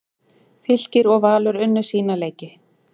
Fylkir og Valur unnu sína leiki